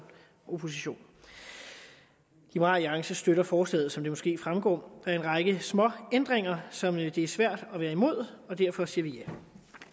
opposition liberal alliance støtter forslaget som det måske fremgår er en række småændringer som det er svært at være imod og derfor siger vi ja